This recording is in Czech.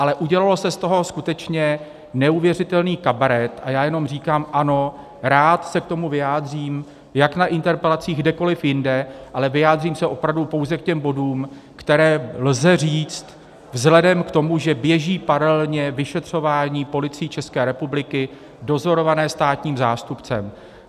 Ale udělal se z toho skutečně neuvěřitelný kabaret a já jenom říkám - ano, rád se k tomu vyjádřím jak na interpelacích, kdekoliv jinde, ale vyjádřím se opravdu pouze k těm bodům, které lze říct vzhledem k tomu, že běží paralelně vyšetřování Policií České republiky dozorované státním zástupcem.